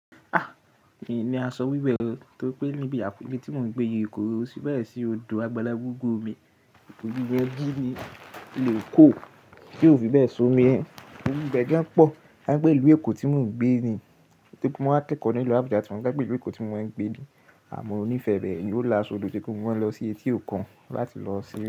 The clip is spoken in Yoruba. A! Mìí ní aṣọ wíwẹ̀ o, torí pé níbi àpẹ̀rẹ̀ tí mò ń gbé ni Èkó, ó sì báyìí sí odò agbalagbó gúre mi. Òjòjùwò ẹbí ni ìlú Èkó, kí ó fi bẹ́ẹ̀ ṣomi ẹ. Òmi bẹ́ gan pọ̀, kánìpẹ́ ìlú Èkó tí mò ń gbé ni, tóri pe mo kẹ́kọ̀ọ́ ni ìlú Abuja tí wọ́n gbé ìlú Èkó tí mò ń gbé ni, àmọ́ monífẹ̀ẹ́ rẹ́ẹ̀, yió laṣọ odò ti mo máa lọ sí etí òkun láti lọ sí.